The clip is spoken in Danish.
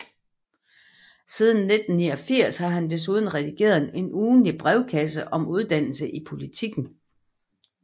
Siden 1989 har han desuden redigeret en ugentlig brevkasse om uddannelse i Politiken